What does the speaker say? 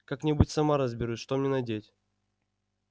как-нибудь сама разберусь что мне надеть